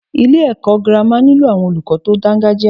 Ilé ẹ̀kọ́ gírámà nílò àwọn olùkọ tí o dáńgájia.